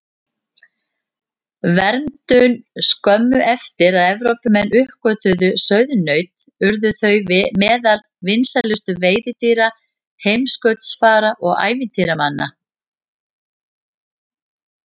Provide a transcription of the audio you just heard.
Verndun Skömmu eftir að Evrópumenn uppgötvuðu sauðnaut urðu þau meðal vinsælustu veiðidýra heimskautsfara og ævintýramanna.